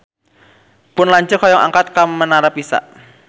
Pun lanceuk hoyong angkat ka Menara Pisa